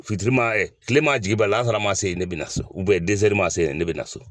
Fitirima, tilema ma jigin ban, laasara maa se ka ban maa se ne bɛna so.